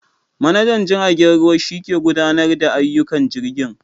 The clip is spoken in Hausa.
Manajan jirgen ruwa shike gudanarda da ayyukan jirgin.